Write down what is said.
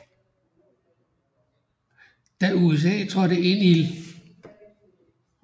Da USA trådte ind i 1